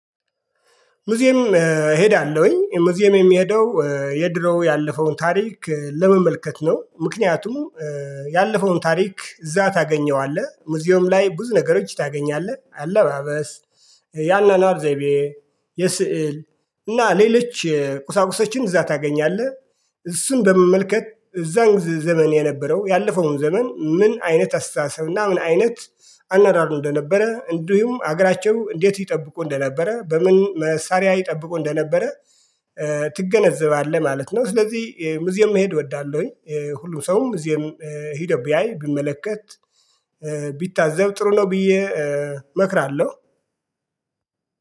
ሙዚየም እሄዳለሁኝ ሙዚየም የምሄደው የድሮ ያለፈውን ታሪክ ለመመልከት ነው። ምክንያቱም ያለፈውን ታሪክ እዛ ታገኘዋለህ ሙዚየም ላይ ብዙ ነገሮች ታገኛለህ። አለባበስ የአኗኗር ዘይቤ የስዕል እና ሌሎች ቁሳቁሶችን እዛ ታገኛለህ። እሱን በመመልከት እዛን ዘመን የነበረው ያለፈውን ዘመን ምን አይነት አስተሳሰብና እና ምን አይነት አኗኗር እንደነበረ እንዲሁም ሀገራቸው እንዴት ይጠብቁ እንደነበረ በምን መሳሪያ ይጠብቁ እንደነበረ ትገነዘባለህ ማለት ነው። ስለዚህ ሙዚየም መሄድ እወዳለሁኝ። ሁሉም ሰውም ሙዚየም ሄዶ ቢያይ ቢመለከት ቢታዘብ ጥሩ ነው። ብዬ እመክራለሁ።